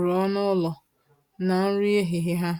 rụọ na-ụlọ na nri ehihie ha